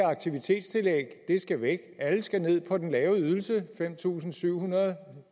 aktivitetstillægget skal væk og alle skal ned på den lave ydelse fem tusind syv hundrede